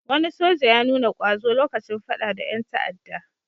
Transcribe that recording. Wani soja ya nuna ƙwazo lokacin faɗa da ƴan ta'adda.